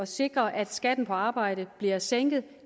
sikre at skatten på arbejde bliver sænket